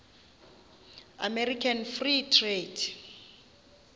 american free trade